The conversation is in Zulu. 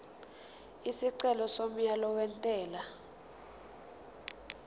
isicelo somyalo wentela